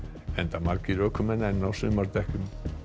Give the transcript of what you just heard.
enda margir ökumenn enn á sumardekkjum